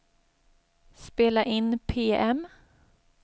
spela in PM